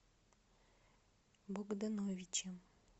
богдановичем